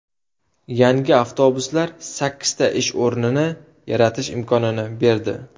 Yangi avtobuslar sakkizta ish o‘rnini yaratish imkonini berdi.